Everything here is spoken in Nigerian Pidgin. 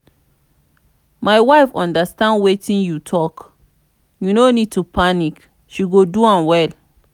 my wife understand wetin you talk you no need to panic she go do am well